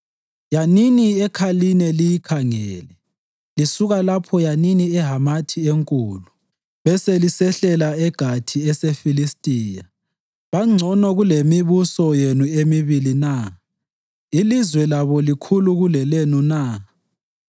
Yanini eKhaline liyikhangele; lisuka lapho yanini eHamathi enkulu, beselisehlela eGathi eseFilistiya. Bangcono kulemibuso yenu emibili na? Ilizwe labo likhulu kulelenu na?